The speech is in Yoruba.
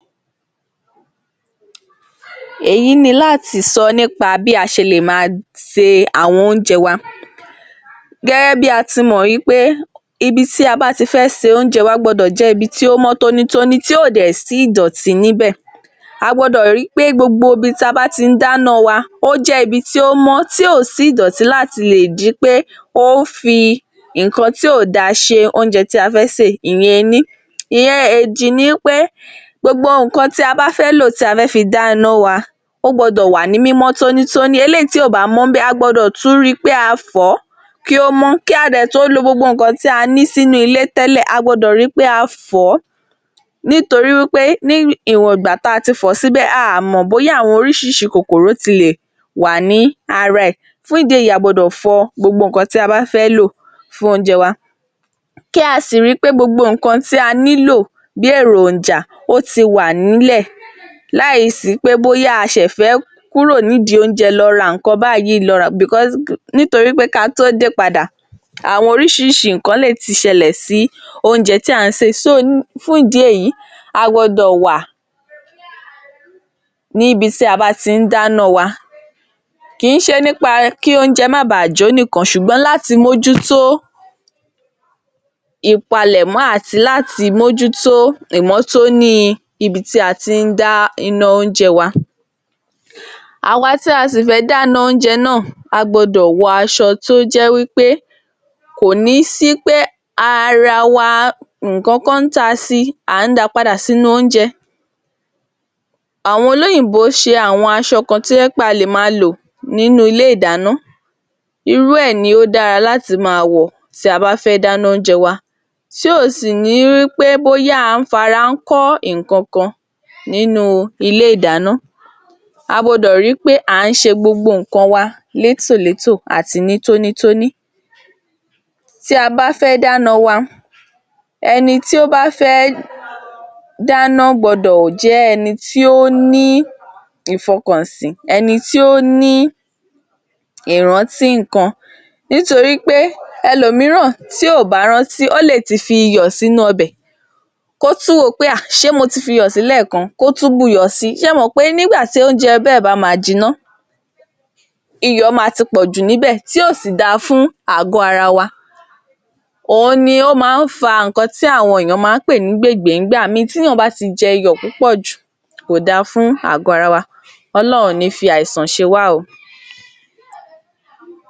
Èyí ni láti sọ nípa bí a ṣe lè máa se àwọn oúnjẹ wa. Gẹ́gẹ́ bí a ti mọ̀ wí pé ibi tí a bá ti fẹ́ se oúnjẹ wa gbọ́dọ̀ jẹ́ ibi tí ó mọ́ tónítóní, tí ò dẹ̀ sí ìdọ̀tí níbẹ̀, a gbọ́dọ̀ ri pé gbogbo ibi tí a bá ti ń dáná wa ó jẹ́ ibi tí ó mọ́ tí ò sí ìdọ̀tí láti lè di wí pé ó ń fi nǹkan tí ò da ṣe oúnjẹ tí a fẹ́ sè ìyẹn ení. Ìyẹñ èjì ni wí pé gbogbo nǹkan tí a bá fẹ́ lò, tí a bá fẹ́ dá iná wa ó gbọ́dọ̀ wà ní mímọ́ tónítóní eléyìí tí kò bá mọ́ níbẹ̀ a gbọ́dọ̀ tún ri wí pé a fọ̀ọ́ kí ó mọ́, kí a dẹ̀ tó lo gbogbo nǹkan tí a ní sínú ilé tẹ́lẹ̀ a gbọ́dọ̀ ri wí pé a fọ̀ọ́ nítorí wí pé ní ìwọn ìgbà tí a ti fọ̀ọ́ síbẹ̀ a ò mọ̀ bóyá àwọn oríṣiríṣi kòkòrò ti lè wà ní ara rẹ̀, fún ìdí èyí a gbọ́dọ̀ fọ gbogbo nǹkan tí a bá fẹ́ lò fún oúnjẹ wa, kí a sì ri pé gbogbo nǹkan tí a nílò bí èròjà ó ti wà nílẹ̀ láì sí pé bóyá a ṣẹ̀ fẹ́ kúrò nídìí oúnjẹ lọ ra nǹkan báyìí nítorí pé kí a tó dé padà àwọn oríṣiríṣi nǹkan lè ti ṣẹlẹ̀ sí oúnjẹ tí à ń sè, fún ìdí èyí, a gbọ́dọ̀ wà ní ibi tí a bá ti ń dáná wa, kìí ṣe nípa kí oúnjẹ má bàá jó nìkan ṣùgbọ́n láti mójútó ìpalẹ̀mọ́ àti láti mójútó ìmọ́tóní ibi tí a tí ń dá iná oúnjẹ wa. Àwa tí a ṣẹ̀ṣẹ̀ dáná oúnjẹ náà, a gbọ́dọ̀ wọ aṣọ tó jẹ́ wí pé kò ní sí pé ara wa nǹkan kan ta si à ń da padà sínú oúnjẹ. Àwọn olóyìnbó ṣe àwọn aṣọ kan tó jẹ́ pé a lè máa lò nínú ilé ìdáná, irú ẹ̀ ni ó dára láti máa wọ̀ tí a bá fẹ́ dáná oúnjẹ wa, tí ò sì ní di pé bóyá à ń fara kọ́ nǹkankan nínú ilé-ìdáná. A gbọ́dọ̀ ri pé à n ṣe gbogbo nǹkan wa létòlétò àti ní tónítóní. Tí a bá fẹ́ dáná wa, ẹni tí ó bá fẹ́ dána, gbọ́dọ̀ jẹ́ ẹni tí ó ní ìfọkànsí, ẹni tí ó ní ìrántí nǹkan nítorí pé ẹlòmíràn tí kò bá rántí ó lè ti fi iyọ̀ sínú ọbẹ̀, kí ó tún wò ó pé à ṣe mo ti fi iyọ̀ si lẹ́ẹ̀kan, kó tún buyọ̀ si, ṣé ẹ mọ̀ pé nígbà tí oúnjẹ bẹ́ẹ̀ bá máa jiná, iyọ̀ ma ti pọ̀jù níbẹ̀ tí ò sì da fún àgọ́ ara wa, òhun ni ó máa ń fa nǹkan tí àwọn ènìyàn ń pè ní gbègbé nígbà míì, tí ènìyàn bá ti jẹ iyọ̀ púpọ̀ jù kò da fún àgọ́ ara wa. Ọlọ́run kò ní fi àìsàn ṣe wá o.